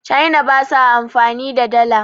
china ba sa amfani da Dala